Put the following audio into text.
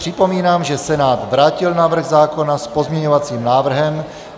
Připomínám, že Senát vrátil návrh zákona s pozměňovacím návrhem.